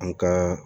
An ka